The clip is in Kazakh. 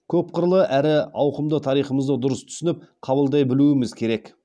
көпқырлы әрі ауқымды тарихымызды дұрыс түсініп қабылдай білуіміз керек